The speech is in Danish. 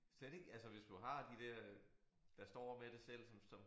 Slet ikke altså hvis du har de der der står med det selv som som